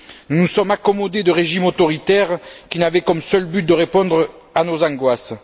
Nous nous sommes accommodés de régimes autoritaires qui n'avaient comme seul but que de répondre à nos angoisses.